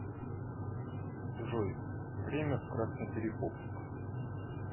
джой время в красноперекопск